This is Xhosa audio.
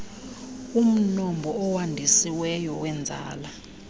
umnombo owandisiweyo weenzala